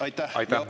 Aitäh!